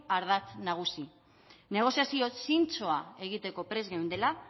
ardatz nagusi negoziazioa zintzoa egiteko prest geundela